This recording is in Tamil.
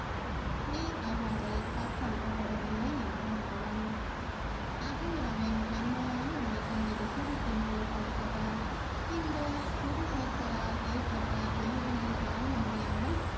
நீ அவ்வாறு கற்பழிக்கப்படவில்லை என்றான் அவன் அகல்யாவின் மென்மையான உள்ளத்தில் இது சுருக்கென்று தைத்தது இந்த சுடு சொற்களால் ஏற்பட்ட வேதனையை தாங்க முடியாமல்